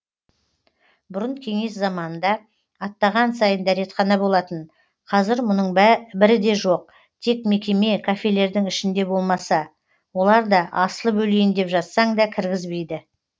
бұрын кеңес заманында аттаған сайын дәретхана болатын қазір мұның бірі де жоқ тек мекеме кафелердің ішінде болмаса олар да асылып өлейін деп жатсаң да кіргізбейді